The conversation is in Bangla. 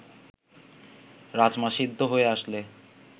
রাজমা সিদ্ধ হয়ে আসলে